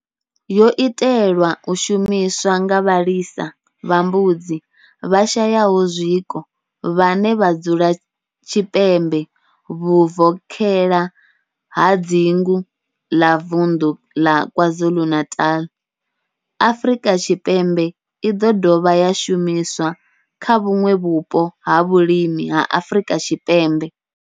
Yo itelwa u shumiswa nga vhalisa vha mbudzi vhashayaho zwiko vhane vha dzula tshipembe vhuvokhela ha dzingu ḽa Vundu la KwaZulu-Natal, Afrika Tshipembe i do dovha ya shumiswa kha vhuṋwe vhupo ha vhulimi ha Afrika Tshipembe.